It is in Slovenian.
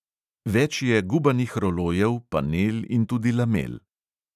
Več je gubanih rolojev, panel in tudi lamel.